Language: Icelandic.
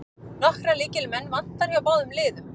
Nokkra lykilmenn vantar hjá báðum liðum